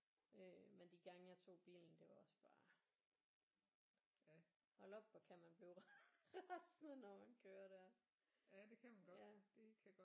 Øh men de gange jeg tog bilen det var også bare hold op hvor kan man blive rasende når man kører der ja